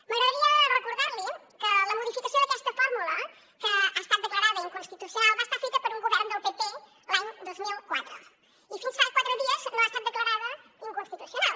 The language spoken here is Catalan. m’agradaria recordar li que la modificació d’aquesta fórmula que ha estat declarada inconstitucional va ser feta per un govern del pp l’any dos mil quatre i fins fa quatre dies no ha estat declarada inconstitucional